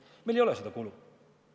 Meil ei ole seda kulu.